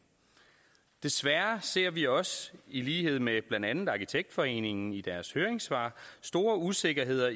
desværre ser vi også i lighed med blandt andet arkitektforeningen i deres høringssvar store usikkerheder